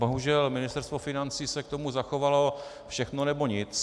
Bohužel Ministerstvo financí se k tomu zachovalo: všechno, nebo nic.